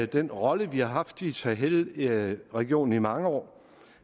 den rolle vi har haft i sahelregionen i mange år